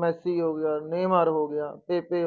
Messi ਹੋ ਗਿਆ ਹੋ ਗਿਆ